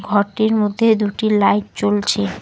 ঘরটির মধ্যে দুটি লাইট জ্বলছে।